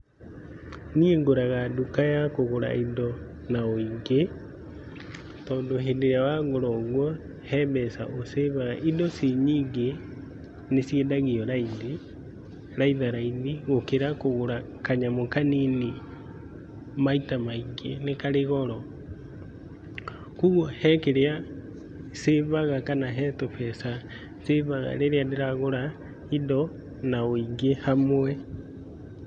Niĩ ngũraga nduka ya kũgũra indo na wĩingĩ, tondũ rĩrĩa wagũra ũguo he mbeca ũcĩbaga. Indo cinyingĩ nĩciendagio raithi , raitharaithi gũkĩra kũgũra kanyamũ kanini maita maingĩ nĩ karĩ goro. Kuoguo he kĩrĩa cĩbaga kana he tũbeca cĩbaga rĩrĩa ndĩragũra indo na wĩingĩ hamwe.